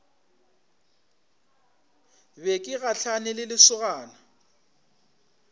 be ke gahlane le lesogana